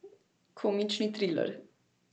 Komični triler.